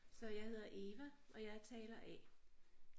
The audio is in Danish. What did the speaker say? Så jeg hedder Eva og jeg er taler A